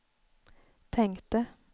tänkte